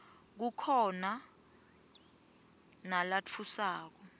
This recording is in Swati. kukhona nalatfusako